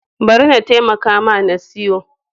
Bari na taimaka ma na siyo.